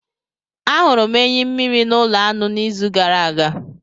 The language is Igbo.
Ahụrụ m enyi mmiri na ulo anu n'izu gara aga